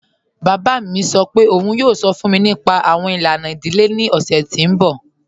Baba mi sọ́ pẹ̀ ọ̀un yoo sọ́ fun mi nípa awọn ilana idílé ni ọ̀ṣẹ̀ ti n bọ́.